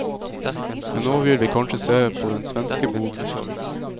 Men nå vil vi kanskje se på den svenske boden?